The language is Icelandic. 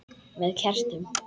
Með kertum?